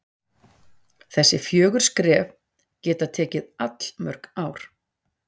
þessi fjögur skref geta tekið allmörg ár